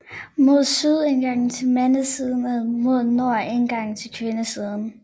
Mod syd indgang til mandesiden og mod nord indgang til kvindesiden